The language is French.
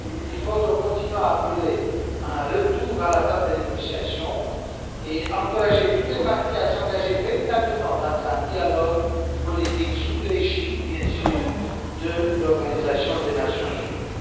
Il faut donc continuer à appeler à un retour à la table des négociations et encourager toutes les parties à s'engager véritablement dans un dialogue politique sous l'égide, bien sûr, de l'Organisation des Nations unies.